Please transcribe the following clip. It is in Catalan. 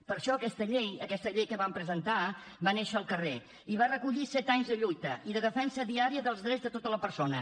per això aquesta llei aquesta llei que vam presentar va néixer al carrer i va recollir set anys de lluita i de defensa diària dels drets de tota persona